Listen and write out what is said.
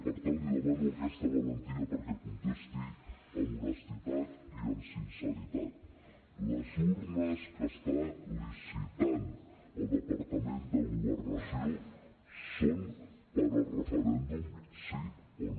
per tant li demano aquesta valentia perquè contesti amb honestedat i amb sinceritat les urnes que està licitant el departament de governació són per al referèndum sí o no